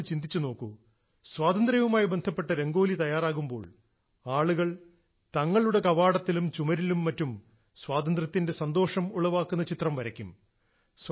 നിങ്ങൾ ഒന്ന് ചിന്തിച്ചു നോക്കൂ സ്വാതന്ത്ര്യവുമായി ബന്ധപ്പെട്ട രംഗാലി തയ്യാറാകുമ്പോൾ ആളുകൾ തങ്ങളുടെ കവാടത്തിലും ചുമരിലും മറ്റും സ്വാതന്ത്ര്യത്തിന്റെ സന്തോഷം ഉളവാക്കുന്ന ചിത്രം വരയ്ക്കും